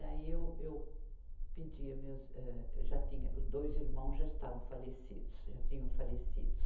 Daí, eu, eu pedi meus, eh, já tinha, dois irmãos já estavam falecidos, já tinham falecidos.